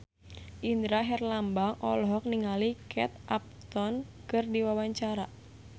Indra Herlambang olohok ningali Kate Upton keur diwawancara